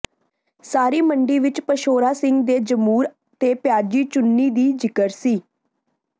ਸਾਰੀ ਮੰਡੀ ਵਿਚ ਪਸ਼ੌਰਾ ਸਿੰਘ ਦੇ ਜਮੂਰ ਤੇ ਪਿਆਜ਼ੀ ਚੁੰਨੀ ਦੀ ਜ਼ਿਕਰ ਸੀ